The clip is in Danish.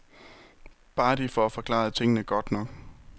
Bare de får forklaret tingene godt nok.